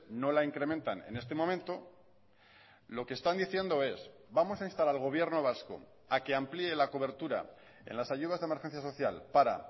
no la incrementan en este momento lo que están diciendo es vamos a instar al gobierno vasco a que amplíe la cobertura en las ayudas de emergencia social para